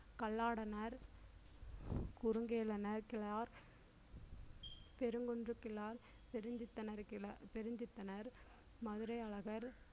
கல்லாடனார் குருங்கேள நாயக்கிழார் பெருங்குன்று பிலால் பெருஞ்சித்திரனார் மதுரை அழகர்